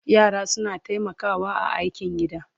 yara suna taimakawa a aikin gida